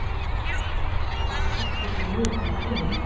Hann ætti þó mikið inni.